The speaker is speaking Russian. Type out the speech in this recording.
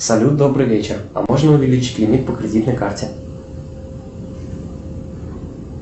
салют добрый вечер а можно увеличить лимит по кредитной карте